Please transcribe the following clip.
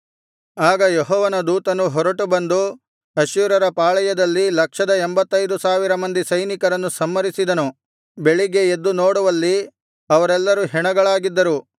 ಆಗ ಯೆಹೋವನ ದೂತನು ಹೊರಟು ಬಂದು ಅಶ್ಶೂರ್ಯರ ಪಾಳೆಯದಲ್ಲಿ ಲಕ್ಷದ ಎಂಭತ್ತೈದು ಸಾವಿರ ಮಂದಿ ಸೈನಿಕರನ್ನು ಸಂಹರಿಸಿದನು ಬೆಳಿಗ್ಗೆ ಎದ್ದು ನೋಡುವಲ್ಲಿ ಅವರೆಲ್ಲರು ಹೆಣಗಳಾಗಿದ್ದರು